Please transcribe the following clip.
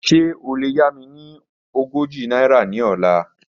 Ṣe o le ya mi ni ọgọ́jọ naira ni ọla?